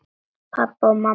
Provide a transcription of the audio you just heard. Pabbi og mamma.